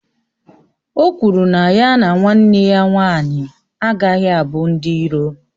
O kwụrụ na ya na nwanne ya nwanyị agaghị abụ ndị iro